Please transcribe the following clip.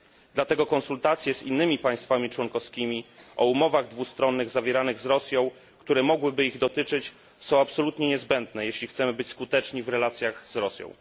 Dlatego konsultacje z innymi państwami członkowskimi o umowach dwustronnych zawieranych z Rosją, które mogłyby ich dotyczyć, są absolutnie niezbędne, jeśli chcemy być skuteczni w relacjach z Rosją.